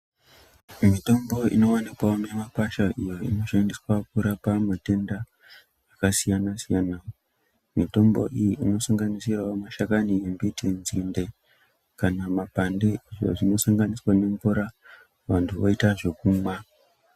Mitombo inowanikwawo mimakwasha iyo inoshandiswa kurapa akasiyana-siyana mitombo iyi inosanganisirawo mashakani embiti, nzinde kana mapande izvo zvinosanganisira nemvura vanhu voita zvekumwa.